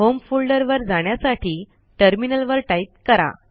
home फोल्डरवर जाण्यसाठी टर्मिनलवर टाईप करा